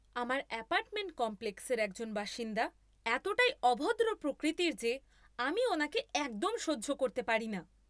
আমার অ্যাপার্টমেন্ট কমপ্লেক্সের একজন বাসিন্দা এতটাই অভদ্র প্রকৃতির যে আমি ওনাকে একদম সহ্য করতে পারি না।